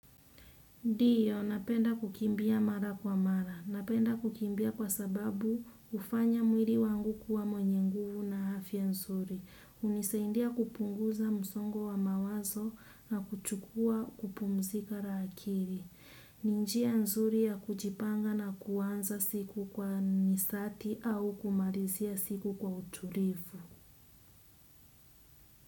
Ndio, napenda kukimbia mara kwa mara. Napenda kukimbia kwa sababu hufanya mwili wangu kuwa mwenye nguvu na afya nzuri. Hunisaidia kupunguza msongo wa mawazo na kuchukua kupumzika akili. Ni njia nzuri ya kujipanga na kuanza siku kwa nishati au kumalizia siku kwa utulivu.